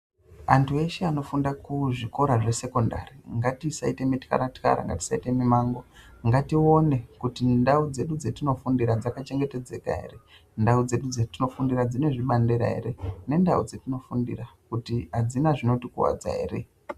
Vandu veshe vanofunda kuzvikora zvesekendari ngatisaita mutwara twara ngatione kuti ndau dzedu dzatino fundira dzaka chengetedzeka ere ndau dzedu dzatino fundira kuti dzine zvbanlera kuti adzina zvino tikuwadza ere.